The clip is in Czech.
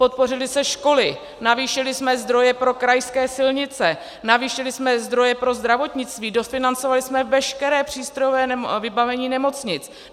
Podpořily se školy, navýšili jsme zdroje pro krajské silnice, navýšili jsme zdroje pro zdravotnictví, dofinancovali jsme veškeré přístrojové vybavení nemocnic.